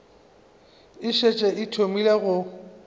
e šetše e thomile go